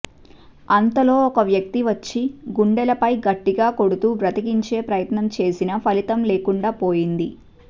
అంతలో ఒక వ్యక్తి వచ్చి గుండెలపై గట్టిగా కొడుతూ బతికించే ప్రయత్నం చేసినా ఫలితం లేకుండాపోయింది